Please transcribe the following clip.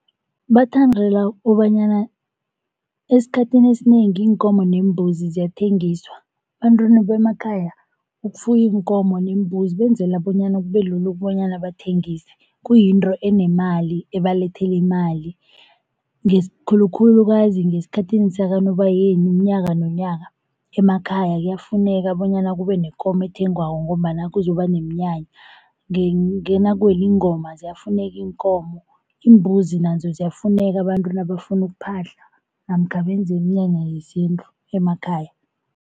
Bathandela kobanyana esikhathini esinengi iinkomo neembuzi ziyathengiswa. Ebantwini bemakhaya ukufuya iinkomo neembuzi benzela bonyana kube lula ukobanyana bathengise. Kuyinto enemali ebalethela imali khulukhulukazi ngesikhathini sakaNobayeni unyaka nonyaka. Emakhaya kuyafuneka bonyana kube nekomo ethengwako ngombana kuzoba neminyanya nakuwele ingoma ziyafuneka iinkomo, iimbuzi nazo ziyafuneka abantu nabafuna ukuphahla namkha benze iminyanya yesintu emakhaya.